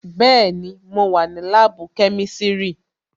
Bẹẹni, mo wà ní láàbù kẹ́mísírì"